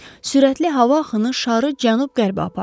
Sürətli hava axını şarı cənub-qərbə apardı.